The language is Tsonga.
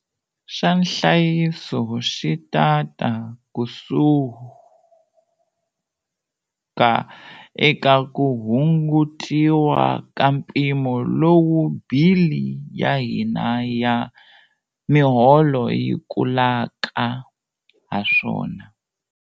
Xa nhlayiso xi ta ta kusuka eka ku hungutiwa ka mpimo lowu bili ya hina ya miholo yi kulaka haswona.